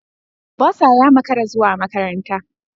Bursar ya makara zuwa makaranta.